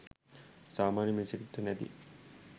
සාමාන්‍ය මිනිසෙක්ට නැති